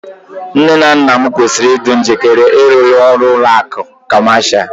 Nne na nna m kwesịrị ịdị njikere ịrụ ọrụ n'ụlọ akụ̀ Kọmashal